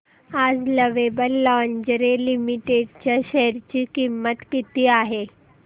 आज Lovable Lingerie Limited च्या share ची किंमत किती आहे